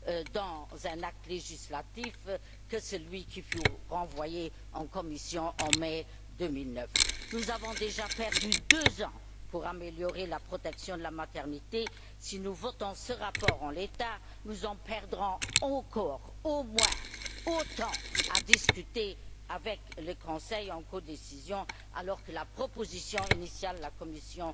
dans un acte législatif, que celui qui fut renvoyé en commission, en mai 2009. Nous avons déjà perdu deux ans pour améliorer la protection de la maternité. Si nous votons ce rapport en l'état, nous en perdrons encore au moins autant à discuter avec le Conseil en codécision, alors que la proposition initiale de la Commission